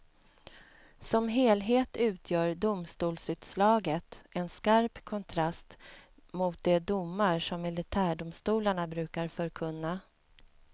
Som helhet utgör domstolsutslaget en skarp kontrast mot de domar som militärdomstolarna brukar förkunna.